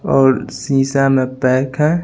और सीसा में पैक है।